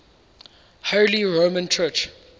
holy roman church